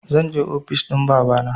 Zanje ofis ɗin babana